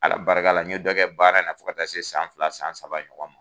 Ala barika la ɲɛ dɔgɔkɛ baara in fo ka ta se san fila san saba ɲɔgɔn ma.